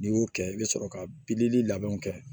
N'i y'o kɛ i bɛ sɔrɔ ka bilili labɛnw kɛ